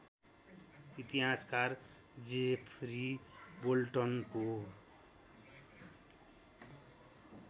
इतिहासकार जेफरी बोल्टनको